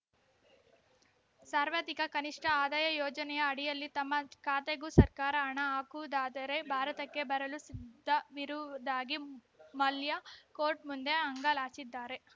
ಸಾರ್ವತ್ರಿಕ ಕನಿಷ್ಠ ಆದಾಯ ಯೋಜನೆಯ ಅಡಿಯಲ್ಲಿ ತಮ್ಮ ಖಾತೆಗೂ ಸರ್ಕಾರ ಹಣ ಹಾಕುವುದಾದರೆ ಭಾರತಕ್ಕೆ ಬರಲು ಸಿದ್ಧವಿರುವುದಾಗಿ ಮಲ್ಯ ಕೋರ್ಟ್‌ ಮುಂದೆ ಅಂಗಲಾಚಿದ್ದಾರೆ